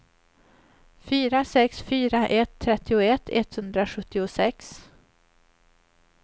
fyra sex fyra ett trettioett etthundrasjuttiosex